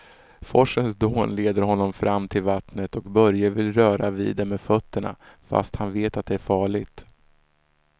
Forsens dån leder honom fram till vattnet och Börje vill röra vid det med fötterna, fast han vet att det är farligt.